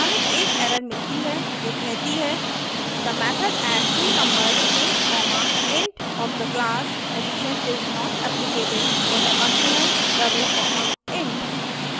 हमें एक error मिलती है जो कहती है the method addtwonumbers int comma int of the class addition is not applicable for the argument double comma int